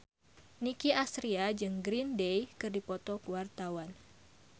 Nicky Astria jeung Green Day keur dipoto ku wartawan